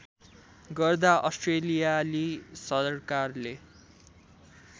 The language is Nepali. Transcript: गर्दा अस्ट्रेलियाली सरकारले